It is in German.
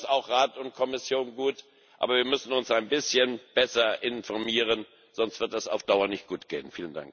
Wir tun das auch Rat und Kommission gut. Aber wir müssen uns ein bisschen besser informieren, sonst wird das auf Dauer nicht gut gehen.